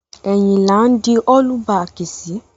Ẹ̀yìn là ń di ọ́lú baàkì sí.